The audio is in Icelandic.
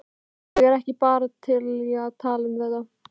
Ég er bara ekki til í að tala um þetta.